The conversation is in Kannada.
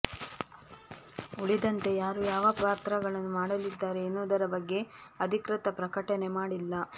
ಉಳಿದಂತೆ ಯಾರು ಯಾವ ಪಾತ್ರಗಳನ್ನು ಮಾಡಲಿದ್ದಾರೆ ಎನ್ನುವುದರ ಬಗ್ಗೆ ಅಧಿಕೃತ ಪ್ರಕಟಣೆ ಮಾಡಿಲ್ಲ